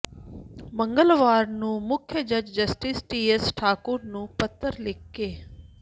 ਮੰਗਲਵਾਰ ਨੂੰ ਮੁੱਖ ਜੱਜ ਜਸਟਿਸ ਟੀਐਸ ਠਾਕੁਰ ਨੂੰ ਪੱਤਰ ਲਿਖ ਕ